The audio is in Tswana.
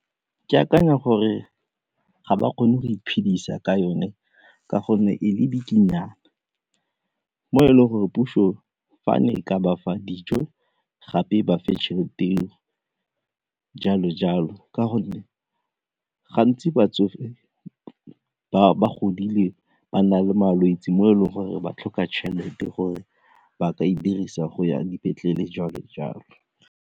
Ke akanya gore ga ba kgone go iphedisa ka yone ka gonne e mo e leng gore puso fa ne e ka bafa dijo gape e bafe tšhelete eo jalo-jalo ka gonne gantsi batsofe ba godile ba na le malwetse mo e leng gore ba tlhoka tšhelete gore ba ka e dirisa go ya dipetlele jalo-jalo.